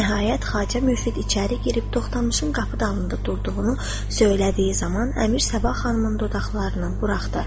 Nəhayət, Xacə Müfid içəri girib Toxtamışın qapı dalında durduğunu söylədiyi zaman, Əmir Sabah xanımın dodaqlarını buraxdı.